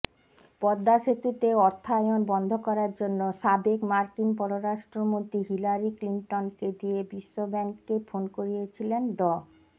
পদ্মাসেতুতে অর্থায়ন বন্ধ করার জন্য সাবেক মার্কিন পররাষ্ট্রমন্ত্রী হিলারি ক্লিনটনকে দিয়ে বিশ্বব্যাংককে ফোন করিয়েছিলেন ড